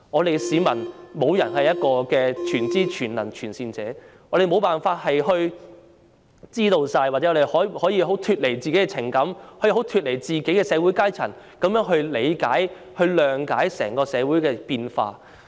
然而，市民中沒有人是全知、全能、全善者，我們無法清楚知道，又或脫離自己的情感和社會階層，從而理解及諒解整個社會的變化。